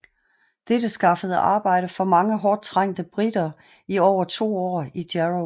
Dette skaffede arbejde for mange hårdt trængte briter i over 2 år i Jarrow